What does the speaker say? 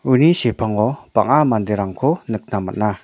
uni sepango bang·a manderangko nikna man·a.